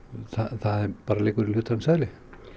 það bara liggur í hlutarins eðli